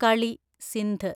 കളി സിന്ധ്